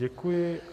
Děkuji.